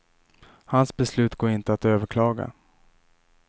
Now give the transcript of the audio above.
Hans beslut går inte att överklaga.